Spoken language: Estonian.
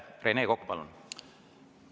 Rene Kokk, palun!